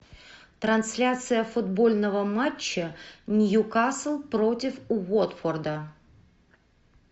трансляция футбольного матча ньюкасл против уотфорда